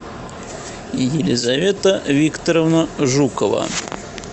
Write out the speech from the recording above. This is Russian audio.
елизавета викторовна жукова